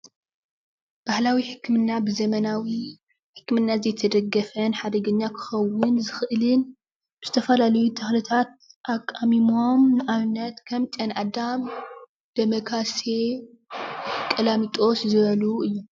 ባህላዊ ሕክምና ብዘመናዊ ሕክምና ዘይተደገፈን ሓደገኛ ክከውን ዝክእልን ዝተፈላለዩ ተክልታት ኣቃሚሞም ንኣብነት ከም ጨና ኣዳም ፣ ደመ ካሴ ፣ ቀላሚጦስ ዝበሉ እዮም ።